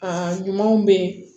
Aa ɲumanw bɛ yen